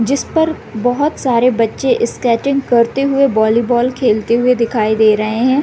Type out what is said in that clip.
जिसपर बहुत सारे बच्चे स्केटिंग करते हुए बॉली बॉल खेलते हुए दिखाई दे रहे है।